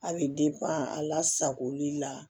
A bɛ a lasagoli la